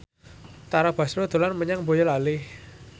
Tara Basro dolan menyang Boyolali